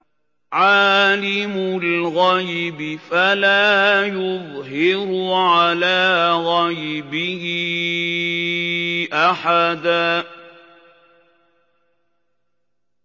عَالِمُ الْغَيْبِ فَلَا يُظْهِرُ عَلَىٰ غَيْبِهِ أَحَدًا